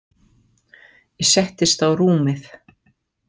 Ég settist á rúmið.